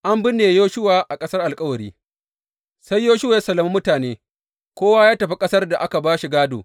An binne Yoshuwa a ƙasar alkawari Sai Yoshuwa ya sallami mutane, kowa ya tafi ƙasar da aka ba shi gādo.